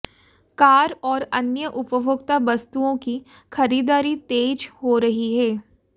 car और अन्य उपभोक्ता वस्तुओं की खरीदारी तेज हो रही है